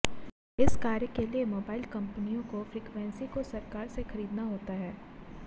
इस कार्य के लिए मोबाइल कंपनियों को फ्रीक्वेंसी को सरकार से खरीदना होता है